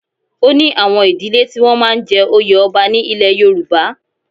O ní àwọn ìdílẹ́ tí wọ́n máa ń jẹ oyè ọba ní ilẹ̀ Yorùbá.